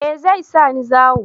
Eh zai sa ni zawo